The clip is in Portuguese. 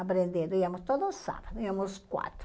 aprenderíamos todos os sábados, íamos quatro.